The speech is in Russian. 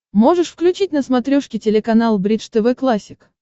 можешь включить на смотрешке телеканал бридж тв классик